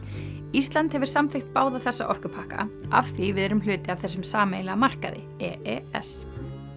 ísland hefur samþykkt báða þessa orkupakka af því við erum hluti af þessum sameiginlega markaði e e s